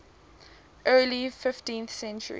early fifteenth century